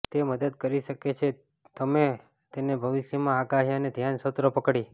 તે મદદ કરી શકે છે તમે તેને ભવિષ્યમાં આગાહી અને ધ્યાન સત્રો પકડી